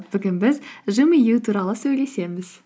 бүгін біз жымию туралы сөйлесеміз